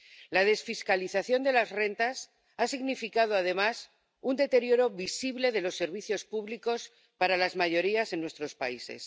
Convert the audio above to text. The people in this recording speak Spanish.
La desfiscalización de las rentas ha significado además un deterioro visible de los servicios públicos para las mayorías en nuestros países.